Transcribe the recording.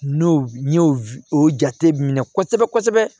N'o n y'o o jate minɛ kosɛbɛ kosɛbɛ